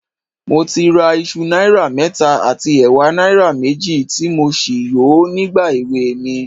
Mo ti ra iṣu náírà mẹ́ta àti ẹ̀wà náírà méjì, tí mo sì yò ó nígbà èweè mi